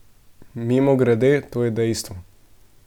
Mimogrede, to je dejstvo.